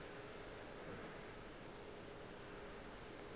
le yona e be e